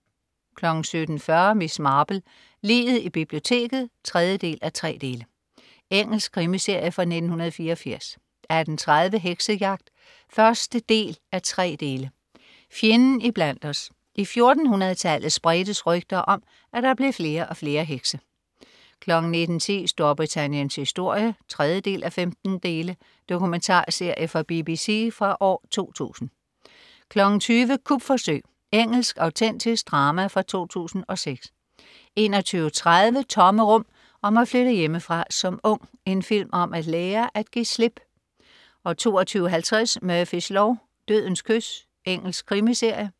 17.40 Miss Marple: Liget i biblioteket 3:3. Engelsk krimiserie fra 1984 18.30 Heksejagt 1:3. Fjenden i blandt os. I 1400tallet spredtes rygter om, at der blev flere og flere hekse 19.10 Storbritanniens historie 3:15. Dokumentarserie fra BBC fra 2000 20.00 Kupforsøg. Engelsk autentisk drama fra 2006 21.30 Tomme rum. Om at flytte hjemmefra som ung. En film om at lære at give slip 22.50 Murphys lov: Dødens kys. Engelsk krimiserie